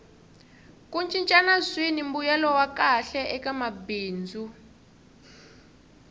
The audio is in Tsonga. ku cincana swini mbuyelo wa kahle eka bindzu